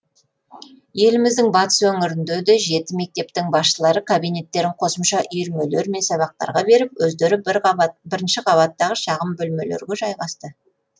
еліміздің батыс өңірінде де жеті мектептің басшылары кабинеттерін қосымша үйірмелер мен сабақтарға беріп өздері бірінші қабаттағы шағын бөлмелерге жайғасты